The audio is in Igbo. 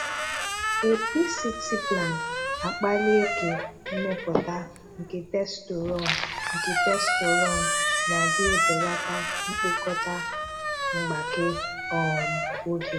A PCT plan-akpali eke mmèpọ̀tà nke testosterone nke testosterone na adị ebelàtà mkpokọta mgbàké um oge.